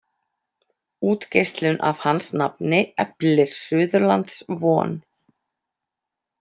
Útgeislun af hans nafni eflir Suðurlands von.